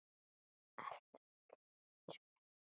Allt milli himins og jarðar.